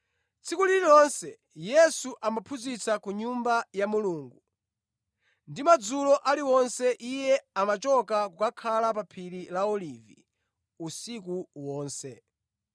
Tsiku lililonse Yesu amaphunzitsa ku Nyumba ya Mulungu, ndi madzulo ali wonse Iye amachoka kukakhala pa phiri la Olivi usiku wonse.